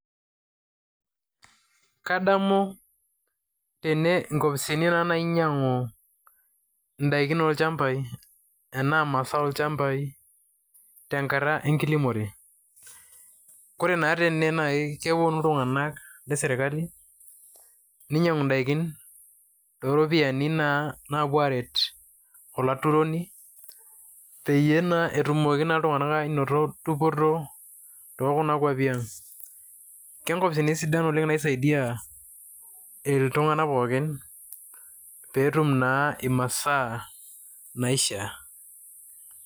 Kadamu tene nkopisini naa nainyang'u ndaikin olchambai enaa mazao olchambai tenakata enkilimore. Kore naa tene naake keponu iltung'anak le sirkali, ninyang'u ndaikin to ropiani naa naapuo aret olaturoni peyie etumoki naa iltung'anak ainoto dupoto to kuna kuapi ang'. Ke ng'opisin naisaidia iltung'anak pookin pee etum naa imasaa naishaa.